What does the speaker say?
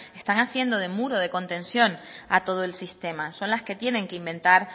están haciendo de muro de contención a todo el sistema son las que tienen que inventar